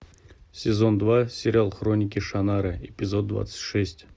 сезон два сериал хроники шаннары эпизод двадцать шесть